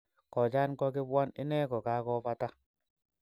Kojan kokipwan ine kokakoo bata